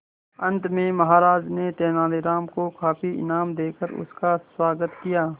अंत में महाराज ने तेनालीराम को काफी इनाम देकर उसका स्वागत किया